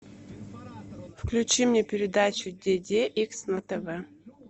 включи мне передачу деде икс на тв